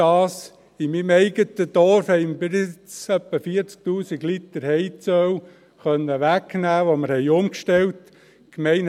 In meinem eigenen Dorf konnten wir bis jetzt etwa 40’000 Liter Heizöl reduzieren, seit wir umgestellt haben.